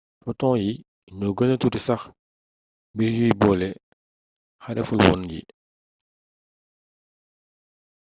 foton yi ñoo gëna tuuti sax mbir yuy boole xarefulwoon yi